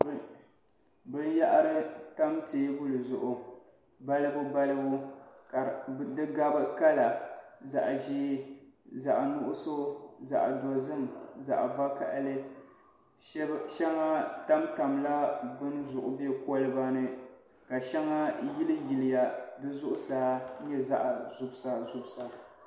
Binyɛhiri n-tam teebuli zuɣu balibu balibu ka di gabi kala zaɣ'ʒee zaɣ'nuɣuso zaɣ'dozim zaɣ'vakahili shɛŋa tamtam la bini zuɣu be koliba ni ka shɛŋa yiliyiliya di zuɣusaa n-nyɛ zaɣ'zubisazubisa.